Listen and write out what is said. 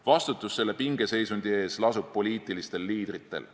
Vastutus selle pingeseisundi eest lasub poliitilistel liidritel.